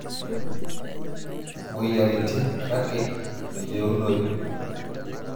Moyiaritin, kakeke meyeunoyu.